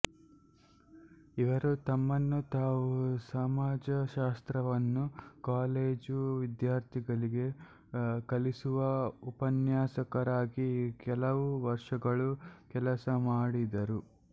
ಇವರು ತಮ್ಮನ್ನು ತಾವು ಸಮಾಜಶಾಸ್ತ್ರವನ್ನು ಕಾಲೆಜು ವಿದ್ಯಾರ್ಥಿಗಲಿಗೆ ಕಲಿಸುವ ಉಪನ್ಯಸಕರಾಗಿ ಕೆಲವು ವರ್ಷಗಳು ಕೆಲಸ ಮಾಡಿದರು